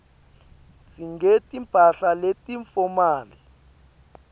singeti mphahla leti fomali